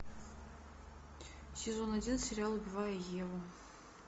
сезон один сериал убивая еву